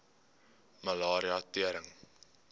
malaria tering